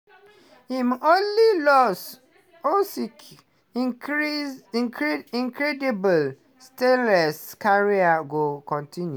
im only loss usyk increase incredible stainless career go continue?